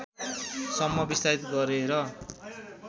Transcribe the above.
सम्म विस्तारित गरेर